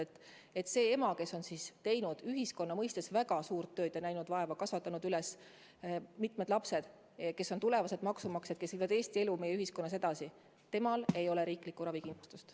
Aga praegu sel emal, kes on teinud ühiskonna seisukohalt väga suurt tööd ja näinud vaeva, kasvatanud üles mitu last, kes on tulevased maksumaksjad, kes viivad Eesti elu meie ühiskonnas edasi, ei ole riiklikku ravikindlustust.